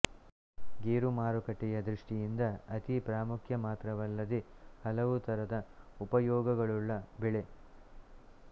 ಗೇರು ಮಾರುಕಟ್ಟೆಯ ದೃಷ್ಟಿಯಿಂದ ಅತೀ ಪ್ರಾಮುಖ್ಯ ಮಾತ್ರವಲ್ಲದೆ ಹಲವು ತರದ ಉಪಯೋಗಗಳುಳ್ಳ ಬೆಳೆ